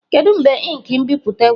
Kedu mgbe ink nbipute gwụchara?